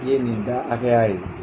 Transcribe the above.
I ye nin da hakɛya ye.